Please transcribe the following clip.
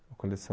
Uma coleção...